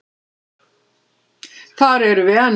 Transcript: Þar erum við enn.